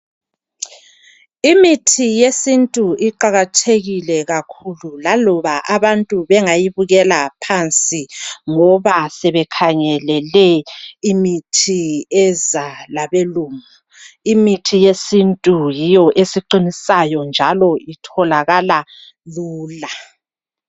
Imithi yesintu iqakathekile kakhulu laloba abantu bengayibukela phansi ngoba sebekhangelele imithi ezalabelungu. Imithi yesintu yiyo esiqinisayo njalo itholakala lula.